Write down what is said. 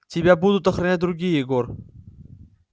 тебя будут охранять другие егор